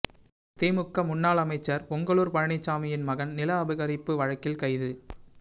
திமுக முன்னாள் அமைச்சர் பொங்கலூர் பழனிச்சாமியின் மகன் நில அபகரிப்பு வழக்கில் கைது